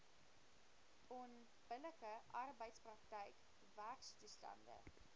onbillike arbeidsprakryk werktoestande